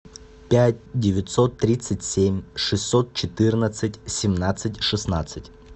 пять девятьсот тридцать семь шестьсот четырнадцать семнадцать шестнадцать